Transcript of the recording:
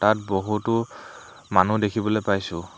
ইয়াত বহুতো মানুহ দেখিবলৈ পাইছোঁ।